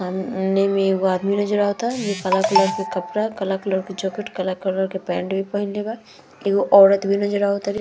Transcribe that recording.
सामने में एगो आदमी नज़र अवता जो काला कलर के कपड़ा काला कलर के जॉकेट काला कलर के पैंट भी पहनले बा एगो औरत भी नज़र आव तारे।